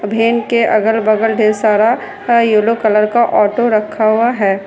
के अगल बगल ढेर सारा यल्लो कलर का ऑटो रखा हुआ है।